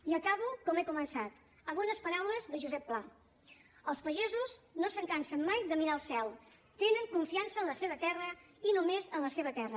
i acabo com he començat amb unes paraules de josep pla els pagesos no se’n cansen mai de mirar el cel tenen confiança en la seva terra i només en la seva terra